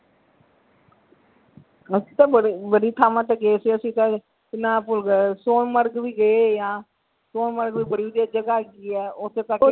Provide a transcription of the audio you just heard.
ਅਸੀਂ ਤਾਂ ਬੜੀ ਥਾਵਾਂ ਤੇ ਗਏ ਸੀ ਅਸੀਂ ਤੇ ਕੀ ਨਾ ਭੁੱਲ ਗਿਆ ਸੋਨਮਰਗ ਵੀ ਗਏ ਸੋਨਮਰਗ ਵੀ ਬੜੀ ਵਧੀਆ ਜਗਾਹ ਹੈਗੀ ਹੈ ਓਥੇ,